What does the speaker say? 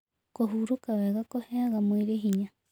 Kũhũrũka wega kũheaga mwĩrĩ hinya